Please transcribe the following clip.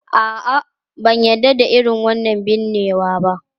A'a, ban yarda da irin wannan binnewa ba.